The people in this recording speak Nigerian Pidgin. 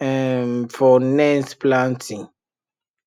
um for next planting